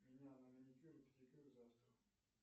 меня на маникюр и педикюр завтра